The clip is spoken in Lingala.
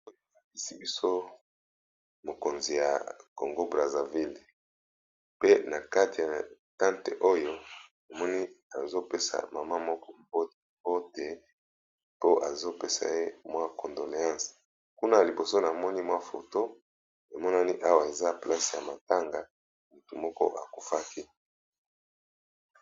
Oyo balakisi biso mokonzi ya congo brazaville, pe na kati ya tante oyo namoni azopesa mama moko bote mote to azopesa ye mwa condoleance, kuna liboso na moni mwa foto emonani awa eza place ya matanga motu moko akufaki.